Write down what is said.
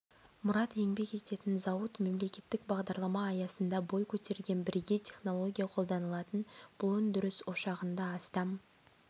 мұрат еңбек ететін зауыт мемлекеттік бағдарлама аясында бой көтерген бірегей технология қолданылатын бұл өндіріс ошағында астам